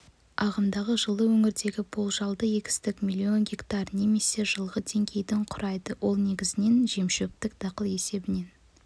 ағымдағы жылы өңірдегі болжалды егістік миллион гектар немесе жылғы деңгейдің құрайды ол негізінен жемшөптік дақыл есебінен